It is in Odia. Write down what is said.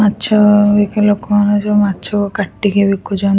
ମାଛ ବିକା ଲୋକମାନେ ସବୁ ମାଛକୁ କାଟିକି ବିକୁଛନ୍ ।